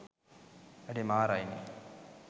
අඩේ මාරයි නේ